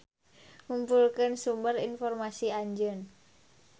Ngumpulkeun sumber informasi Anjeun.